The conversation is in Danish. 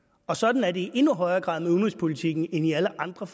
og sådan er det i endnu højere grad med udenrigspolitikken end i alle andre